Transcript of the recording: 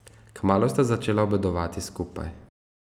Kmalu sta začela obedovati skupaj.